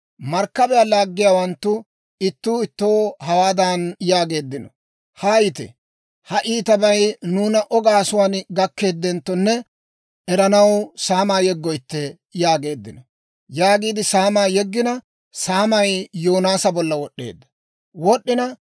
Markkabiyaa laaggiyaawanttu ittuu ittoo hawaadan yaageeddino; «Haayite; ha iitabay nuuna O gaasuwaan gakeddenttone eranaw saamaa yeggoytte» yaageeddino. Saamaa yeggina, saamay Yoonaasa bollan wod'd'eedda.